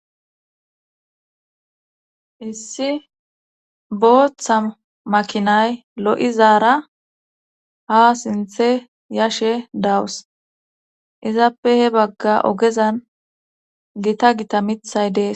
issi booththa makinay lo7izaara ha sinthe yashe dawus izappe he bagga ogezan gita gita mithay dees